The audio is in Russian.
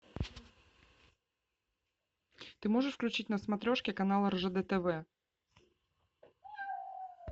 ты можешь включить на смотрешке канал ржд тв